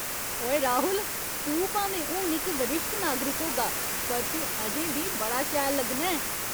ओए राहुल, तूं भामें हून इक वरिश्ठ नागरिक होगा, पर तूं अजें बी बड़ा शैल लग्गना ऐं।